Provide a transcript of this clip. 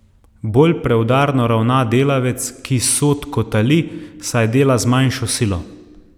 Bolj preudarno ravna delavec, ki sod kotali, saj dela z manjšo silo.